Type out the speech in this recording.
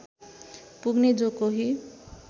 पुग्ने जो कोही